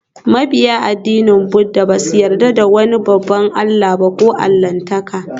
Mabiyan addinin Buddah ba sa yarda da wani babban allah ko allahntaka